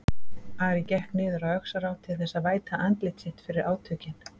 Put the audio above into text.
Ari gekk niður að Öxará til þess að væta andlit sitt fyrir átökin.